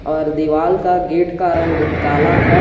और दीवाल का गेट का रंग काला है।